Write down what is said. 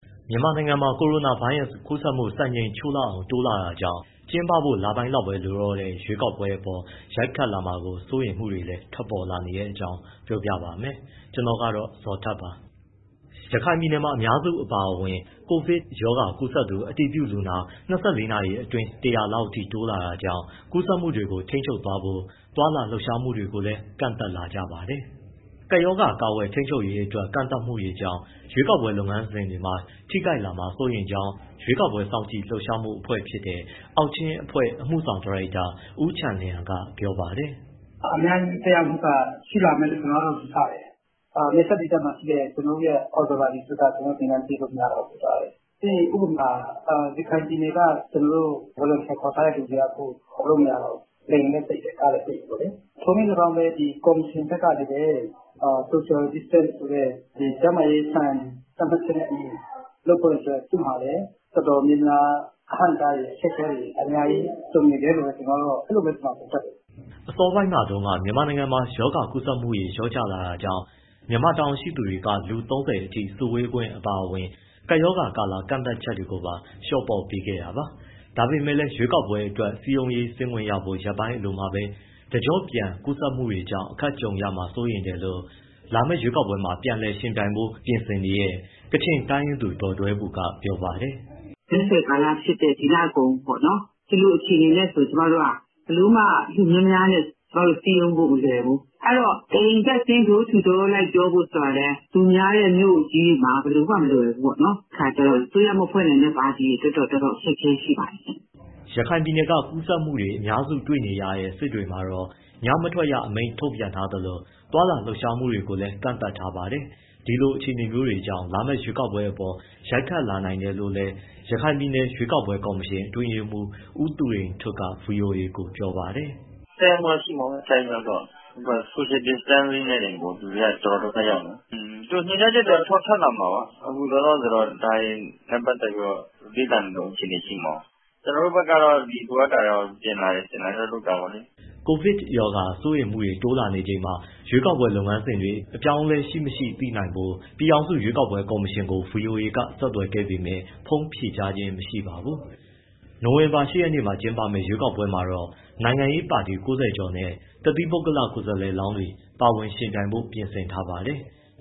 မြန်မာနိုင်ငံမှာ ကိုရိုနာဗိုင်းရပ်စ် ကူးစက်မှုတွေ စံချိန်ချိုးလောက်အောင် တိုးလာတာကြောင့် ကျင်းပဖို့လပိုင်းလောက်သာ လိုတော့တဲ့ ရွေးကောက်ပွဲအပေါ် ရိုက်ခတ်လာမှာကို စိုးရိမ်မှုတွေလည်း ထွက်ပေါ်လာနေတဲ့အကြောင်း ပြောပြပေးပါမယ်။ ဗွီအိုအေမြန်မာပိုင်းသတင်းထောက် ကိုဇော်ထက်က တင်ပြပေးထားပါတယ်။ ရခိုင်ပြည်နယ်မှာ အများစု အပါအဝင် ကိုဗစ်ရောဂါကူးစက်သူ အတည်ပြုလူနာ ၂၄ နာရီအတွင်း ၁၀၀ လောက်အထိ တိုးလာတာကြောင့် ကူးစက်မှုတွေကို ထိန်းချုပ်ဖို့ သွားလာလှုပ်ရှားမှုတွေကိုလည်း ကန့်သတ်လာကြပါတယ်။ ကပ်ရောဂါ ကာကွယ်ထိန်းချုပ်ရေးအတွက် ကန့်သတ်မှုတွေကြောင့် ရွေးကောက်ပွဲ လုပ်ငန်းစဉ်တွေမှာ ထိခိုက်လာမှာ စိုးရိမ်ကြောင်း ရွေးကောက်ပွဲစောင့်ကြည့်လှုပ်ရှားမှု အဖွဲ့တခုဖြစ်တဲ့ အောက်ချင်းအဖွဲ့ အမှုဆောင်ဒါရိုက်တာ ဦးချန်လျန်က ပြောပါတယ်။ “အများကြီး သက်ရောက်မှုက ရှိလာမယ်လို့ ကျနော်က ယူဆတယ်။ နယ်စပ်ဒေသမှာရှိတဲ့ ကျနော်တို့ရဲ့ observer တွေအတွက် ကျနော်တို့ သင်တန်းပေးလို့ မရတော့ဘူးဖြစ်သွားတယ်၊ ပထမအချက်။ ပြီးရင် ဥပမာ ရခိုင်ပြည်နယ်က ကျနော်တို့ volunteer ခေါ်ထားတဲ့သူတွေက အခုခေါ်လို့ မရတော့ဘူး၊ လေယာဉ်လည်းပိတ်တယ်၊ ကားလည်းပိတ်တယ်။ ထိုလည်းလည်းကောင်းပဲ ကော်မရှင်ကလည်း social distance ဆိုတဲ့ ကျန်းမာရေးစံ သတ်မှတ်ချက်နဲ့အညီ လုပ်ဖို့အတွက် သူ့မှာလည်း အတော်များများ အဟန့်အတားတွေ၊ အခက်အခဲတွေ ကြုံနေတယ်လို့ပဲ အဲလိုပဲ ကျနော်ကတော့ သုံးသပ်တယ်။” အစောပိုင်းမှာတုန်းကတော့ မြန်မာနိုင်ငံမှာ ရောဂါကူးစက်မှုတွေ လျော့ကျလာတာကြောင့် မြန်မာတာဝန်ရှိသူတွေက လူ ၃၀ အထိ စုဝေးခွင့် အပါအဝင် ကပ်ရောဂါကာလ ကန့်သတ်ချက်တွေကို လျှော့ပေါ့ပေးခဲ့တာပါ။ ဒါပေမဲ့လည်း ရွေးကောက်ပွဲအတွက် စည်းရုံးရေးဆင်းခွင့်ရဖို့ ရက်ပိုင်းအလိုမှာပဲ တကျော့ပြန် ကူးစက်မှုတွေကြောင့် အခက်ကြုံရမှာ စိုးရိမ်တယ်လို့ လာမယ့် ရွေးကောက်ပွဲမှာ ပြန်လည်ယှဉ်ပြိုင်ဖို့ ပြင်ဆင်နေတဲ့ ကချင်တိုင်းရင်းသူ ဒေါ်ဒွဲဘူက ပြောပါတယ်။ “မဲဆွယ်ကာလဖြစ်တဲ့ ဒီလကုန်ပေါ့နော်၊ ဒီလိုအခြေအနေနဲ့ ကျမတို့က ဘယ်လိုမှ လူများများနဲ့ ကျမတို့ စည်းရုံးဖို့ မလွယ်ဘူး။ အဲဒီတော့ တအိမ်တက်ဆင်း door to door လိုက်ပြောဖို့ဆိုတာကလည်း လူများတဲ့ မြို့ကြီးတွေမှာ ဘယ်လိုမှ မလွယ်ဘူးပေါ့နော်။ အဲဒီတော့ အစိုးရမဖွဲ့နိုင်တဲ့ ပါတီတွေအတွက်တော့ တော်တော် အခက်အခဲရှိပါတယ်ရှင့်။” ရခိုင်ပြည်နယ်က ကူးစက်မှုတွေ အများစုတွေ့နေရတဲ့ စစ်တွေမှာတော့ ညမထွက်ရအမိန့် ထုတ်ပြန်ထားသလို သွားလာလှုပ်ရှားမှုတွေကို ကန့်သတ်ထားပါတယ်။ ဒီလိုအခြေအနေမျိုးတွေကြောင့် လာမယ့် ရွေးကောက်ပွဲအပေါ် ရိုက်ခတ်လာနိုင်တယ်လို့လည်း ရခိုင်ပြည်နယ် ရွေးကောက်ပွဲကော်မရှင် အတွင်းရေးမှူး ဦးသူရိန်ထွဋ်က ဗွီအိုအေကို ပြောပါတယ်။ “သက်ရောက်မှုတော့ ရှိမှာပေါ့ဗျာ အထိုက်အလျောက်တော့။ အခုက social distancing နဲ့တင်ကို လူတွေက တော်တော်ဒုက္ခရောက်နေကြတာ။ အင်း ညွှန်ကြားချက်တော့ ထွက်လာမှာပါ၊ အခုလောလောဆယ်တော့ ဒါတွေနဲ့ ပတ်သက်ပြီးတော့ လေ့လာနေတုန်း အခြေအနေ ရှိမှာပေါ့။ ကျနော်တို့ ဘက်ကတော့ လိုအပ်တာတွေတော့ ပြင်တာ၊ ဆင်တာတော့ လုပ်တာပေါ့လေ။” ကိုဗစ်ရောဂါ ကူးစက်မှုတွေ တိုးလာနေချိန်မှာ ရွေးကောက်ပွဲ လုပ်ငန်းစဉ်တွေ အပြောင်းအလဲရှိမရှိ သိနိုင်ဖို့ ပြည်ထောင်စု ရွေးကောက်ပွဲကော်မရှင်ကို ဗွီအိုအေက ဆက်သွယ်ခဲ့ပေမဲ့ ဖုန်းဖြေကြားခြင်း မရှိပါဘူး။ နိုဝင်ဘာလ ၈ ရက်နေ့မှာ ကျင်းပမယ့် ရွေးကောက်ပွဲမှာတော့ နိုင်ငံရေးပါတီ ၉၀ ကျော်နဲ့ တသီးပုဂ္ဂလ ကိုယ်စားလှယ်လောင်းတွေ ပါဝင်ယှဉ်ပြိုင်ဖို့ ပြင်ဆင်ထားပါတယ်။